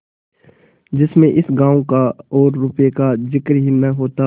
जिसमें इस गॉँव का और रुपये का जिक्र ही न होता